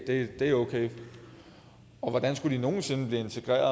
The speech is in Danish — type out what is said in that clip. det er okay hvordan skulle de nogen sinde blive integreret